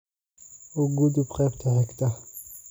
u gudub qaybta xigta